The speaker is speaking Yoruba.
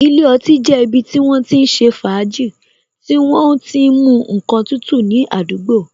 Ilé ọtí jẹ́ ibi tí wọ́n ti ń ṣe fàájì, tí wọ́n o ti mu ǹkan tútù ní àdúgbò.